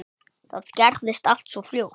Það gerðist allt svo fljótt.